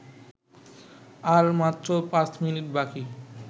আর মাত্র পাঁচ মিনিট বাকি